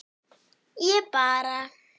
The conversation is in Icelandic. ég bara